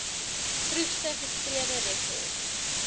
vroegste geskrewe rekords